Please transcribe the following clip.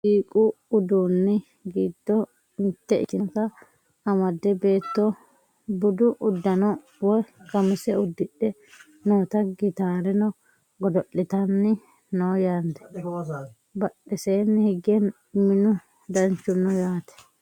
muziiqu uduunni giddo mitte ikkitinota amadde beetto budu uddano woye qamise uddidhe noota gitaareno godo'litanni no yaate badheseenni hige minu danchu no yaate